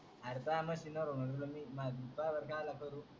अरे त्वा मशीन वरून मारली त्वा वर कहा ला करू